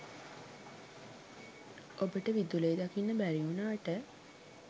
ඔබට විදුලිය දකින්න බැරි වුනාට